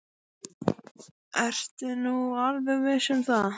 Ertu nú alveg viss um það.